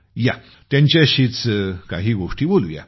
या त्यांच्याशीच काही गोष्टी बोलू या